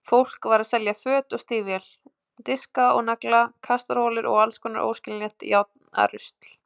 Fólk var að selja föt og stígvél, diska og nagla, kastarholur og allskonar óskiljanlegt járnarusl.